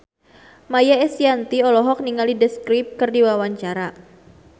Maia Estianty olohok ningali The Script keur diwawancara